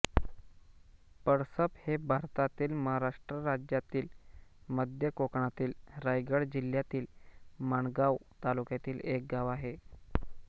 पळसप हे भारतातील महाराष्ट्र राज्यातील मध्य कोकणातील रायगड जिल्ह्यातील माणगाव तालुक्यातील एक गाव आहे